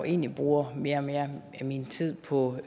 egentlig bruger mere og mere af min tid på